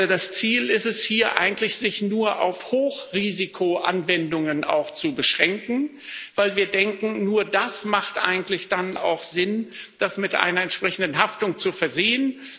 Das Ziel ist es hier eigentlich, sich auch nur auf Hochrisikoanwendungen zu beschränken, weil wir denken, nur das macht eigentlich dann auch Sinn, das mit einer entsprechenden Haftung zu versehen.